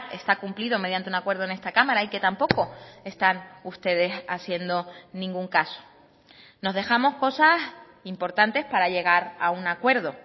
está cumplido mediante un acuerdo en esta cámara y que tampoco están ustedes haciendo ningún caso nos dejamos cosas importantes para llegar a un acuerdo